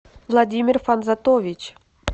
владимир фанзатович